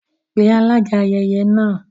Pe alága ayẹyẹ náà